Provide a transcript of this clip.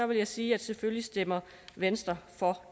vil jeg sige at selvfølgelig stemmer venstre for